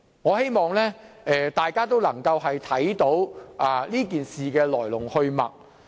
我希望大家能夠看清此事的來龍去脈。